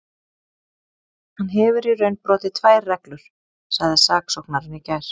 Hann hefur í raun brotið tvær reglur, sagði saksóknarinn í gær.